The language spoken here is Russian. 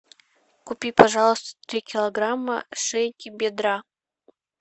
купи пожалуйста три килограмма шейки бедра